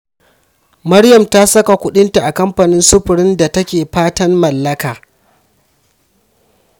Maryam ta saka kuɗinta a kamfanin sufurin da take fatan mallaka.